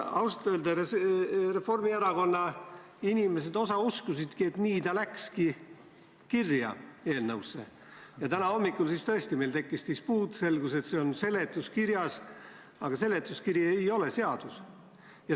Ausalt öeldes osa Reformierakonna inimesi uskuski, et see läks eelnõusse kirja, ja täna hommikul tekkis meil tõesti dispuut, kui selgus, et see oli seletuskirjas – aga seletuskiri ei ole ju seadus!